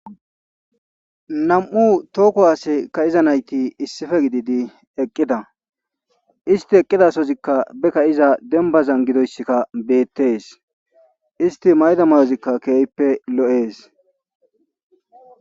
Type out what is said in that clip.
Nam7u toho kuwaase kaa7ida nayti issipe gididi eqqida isti eqqida sohozikka be kaa7iza dembbazan gidoysika beettes isti mayida mayotikka keehippe lo7ees.